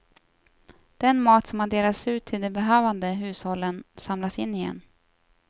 Den mat som har delats ut till de behövande hushållen samlas in igen.